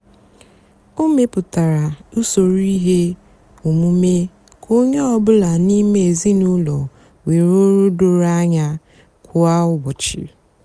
ó mepụtárá usoro íhè ómumé kà ónyé ọ bụlà n'ímé ézinụlọ nwée ọrụ dórò ányá kwá úbọchị.